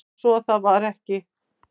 Sá svo að það var ekki.